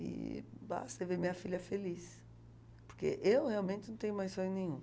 E basta ver minha filha feliz, porque eu realmente não tenho mais sonho nenhum.